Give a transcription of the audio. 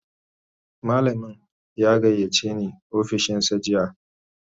Malamin ya gayyace ni ofishinsa jiya